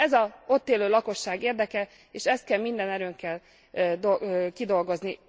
Ez az ott élő lakosság érdeke, és ezt kell minden erőnkkel kidolgozni.